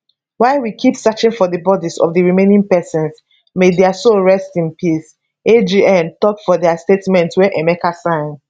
while we keep searching for di bodis of di remaining pesins may dia soul rest in peace agn tok for dia statement wey emeka sign